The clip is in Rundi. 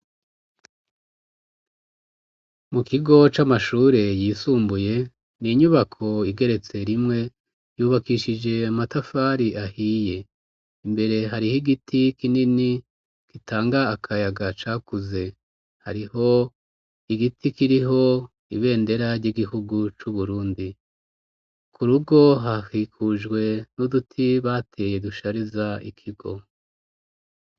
Mu kigo c'amashure yisumbuye, ni inyubako igeretse rimwe, yubakishije amatafari ahiye. Imbere hariho igiti kinini kitanga akayaga cakuze, hariho igiti kiriho ibendera ry'igihugu c'Uburundi. Ku rugo hahikujwe n'uduti bateye dushariza ikigo.